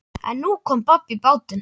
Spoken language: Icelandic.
En nú kom babb í bátinn.